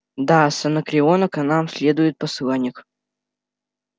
да с анакреона к нам следует посланник